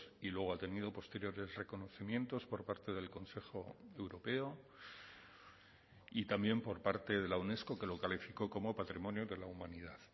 y luego ha tenido posteriores reconocimientos por parte del consejo europeo y también por parte de la unesco que lo calificó como patrimonio de la humanidad